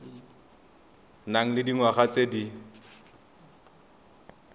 nang le dingwaga tse di